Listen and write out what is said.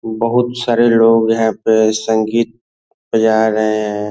बहुत सारे लोग है यहाँ पे संगीत बजा रहे हैं।